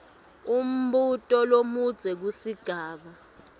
umbuto lomudze kusigaba